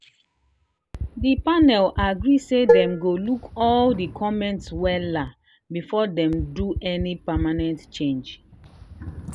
the panel agree say dem go look all the comments wella before dem do any permanent change.